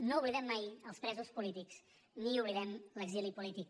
no oblidem mai els presos polítics ni oblidem l’exili polític